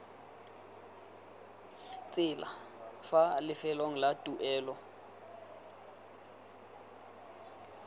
tsela fa lefelong la tuelo